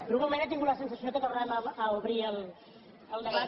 per un moment he tingut la sensació que tornàvem a obrir el debat